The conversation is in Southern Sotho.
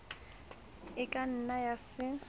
e ka nna ya se